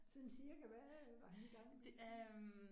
Sådan cirka hvad var han i gang med?